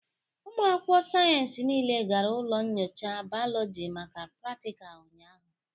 Ụmụ akwụkwọ sayensị niile gara ụlọ nyocha bayoloji maka pratical ụnyahụ.